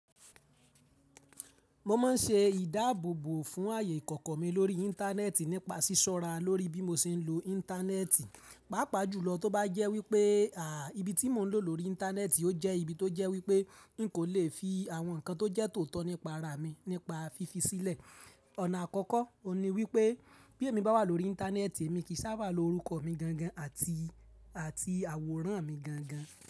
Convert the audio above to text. Mo máa ń ṣe ìdáàbòbò fún ààyè ìkọ̀kọ̀ mi lórí Íńtánẹ́ẹ̀tì nípa ṣíṣọ́ra lórí bí mo ṣe ń lo Íńtánẹ́ẹ̀tì, pàápàá jùlọ tó bá jẹ́ wípé, à, ibi tí mo ń lò lórí Íńtánẹ́ẹ̀tì ó jẹ́ ibi tó jẹ́ wípé n kò le fi àwọn nǹkan tó jẹ́ tòótọ́ nípa ara mi, nípa fífi sílẹ̀. Ọ̀nà àkọ́kọ́, òní wípé bí èmi bá wà lórí Íńtánẹ́ẹ̀tì, èmi kì í sábà lo orúkọ mi gangan àti, àti àwòrán mi gangan.